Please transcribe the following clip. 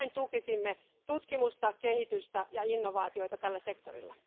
Näin tukisimme tutkimusta, kehitystä ja innovaatioita tällä sektorilla.